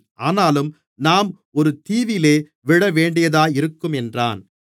ஆனாலும் நாம் ஒரு தீவிலே விழவேண்டியதாயிருக்கும் என்றான்